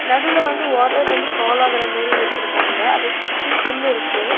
நடுவுல வந்து வாட்டர் வந்து ஃபால் ஆகற மேரி வச்சிருக்காங்க அத சுத்தி புல் இருக்கு.